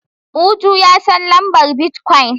Uju ya san lambar bitcoin.